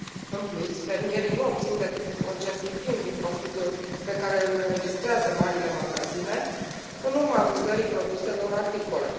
În plus, fermierii nu obțin decât un procent infim din profitul pe care îl înregistrează marile magazine în urma vânzării produselor agricole.